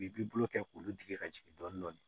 U b'i bolo kɛ k'olu digi ka jigin dɔɔnin